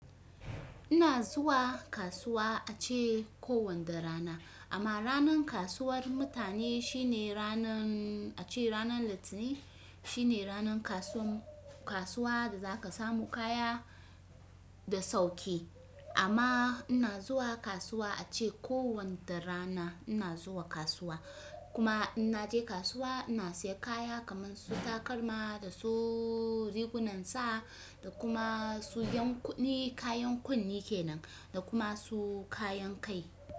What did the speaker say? Ina zuwa kasuwa ace kowanda rana. Amma ranan kasuwar mutane shine ranan, ace ranan latinin shine ranan kasuwan kasuwa da za ka samu kaya da sauki. Amma ina zuwa kasuwa ace kowanda rana ina zuwa kasuwa. Kuma in naje kasuwa ina siya kaya kamansu takalma da su rigunan sa da kuma su yan kunne kayan kunne kenan da kuma su kayan kai.